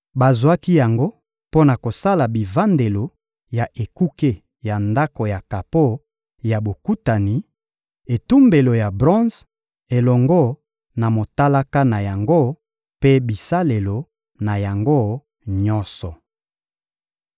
Bazwaki yango mpo na kosala bivandelo ya ekuke ya Ndako ya kapo ya Bokutani, etumbelo ya bronze elongo na motalaka na yango mpe bisalelo na yango nyonso.